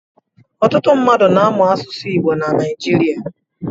Ọtụtụ mmadụ na-amụ asụsụ Igbo na Naịjirịa.